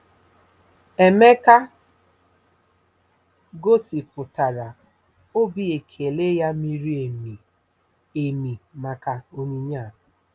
Emeka gosipụtara obi ekele ya miri emi emi maka onyinye a.